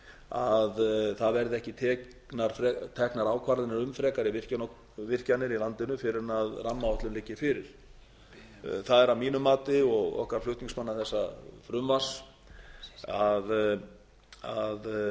að það verði ekki teknar ákvarðanir um frekari virkjanir í landinu fyrr en rammaáætlun liggi fyrir það er að mínu mati og okkar flutningsmanna þessa frumvarps að